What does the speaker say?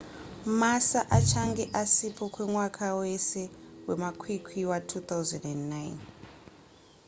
massa achange asipo kwemwaka wese wemakwikwi wa2009